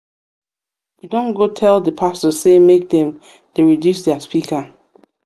we don go tell di pastor sey make dem dey reduce their speaker.